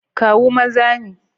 Kawu maza ne.